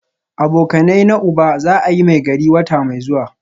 Abokanaina uba za a yi Maigari wata mai zuwa